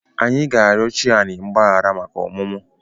Anyị ga-arịọ chi Ani mgbaghara maka ọmụmụ